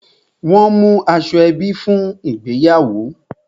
Won mú aṣọ ebi fún ìgbéyàwó